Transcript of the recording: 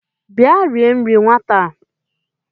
Bịa rie nri nwata a